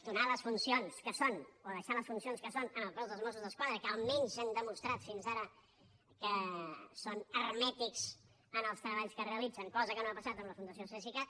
donar les funcions que són o deixar les funcions que són al cos de mossos d’esquadra que almenys han demostrat fins ara que són hermètics en els treballs que realitzen cosa que no ha passat amb la fundació cesicat